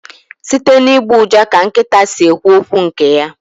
Site n'ịgbọ ụja ka nkịta si ekwu okwu nke ya